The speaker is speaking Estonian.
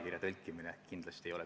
Sama puudutab toitlustamist.